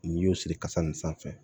N'i y'o siri kasa in sanfɛ